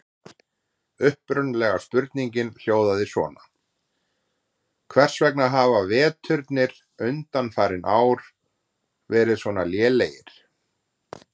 Upprunalega spurningin hljóðaði svona: Hvers vegna hafa veturnir undanfarin ár verið svona lélegir?